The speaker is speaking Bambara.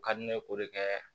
U ka di ne k'o de kɛ